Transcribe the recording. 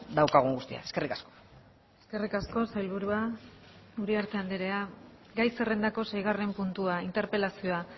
daukagun guztia eskerrik asko eskerrik asko sailburua uriarte andrea gai zerrendako seigarren puntua interpelazioa